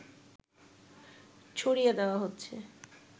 ছড়িয়ে দেয়া হচ্ছে